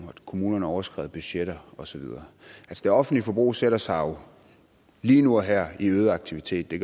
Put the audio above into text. kommunerne overskred budgetterne og så videre det offentlige forbrug sætter sig jo lige nu og her i øget aktivitet det